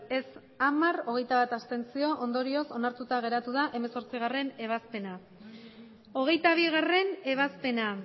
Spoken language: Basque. ez hamar abstentzioak hogeita bat ondorioz onartuta geratu da hemezortzigarrena ebazpena hogeita bigarrena ebazpena